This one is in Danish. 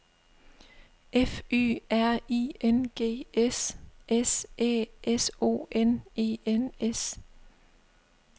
F Y R I N G S S Æ S O N E N S